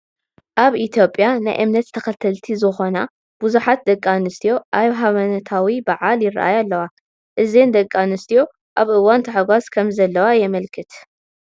ኣብ ኢ/ያ ናይ እምነት ተኸተልቲ ዝኾና ብዙሓት ደቂ ኣንስትዮ ኣብ ሃይማኖዊ በዓል ይራኣ ኣለዋ፡፡ አዘን ደቂ ኣንስትዮ ኣብ እዋን ታሕጓስ ከምዘለዋ የመልክት